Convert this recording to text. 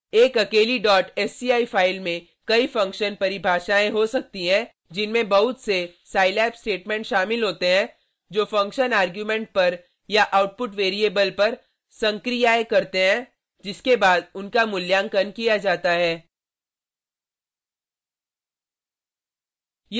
एक अकेली sci file में कई फंक्शन परिभाषायें हो सकती हैं जिनमें बहुत से scilab स्टेटमेंट शामिल होते हैं जो फंक्शन आर्ग्युमेंट पर या आउटपुट वैरिएबल पर संक्रियाएं करते हैं जिसके बाद उनका मूल्यांकन किया जाता है